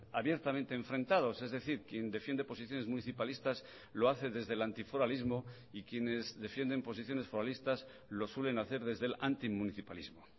abiertamente enfrentados es decir quien defiende posiciones municipalistas lo hace desde el antiforalismo y quienes defienden posiciones foralistas lo suelen hacer desde el antimunicipalismo